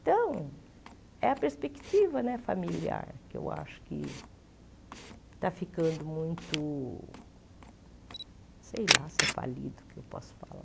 Então, é a perspectiva né familiar que eu acho que está ficando muito, sei lá se é falido que eu posso falar.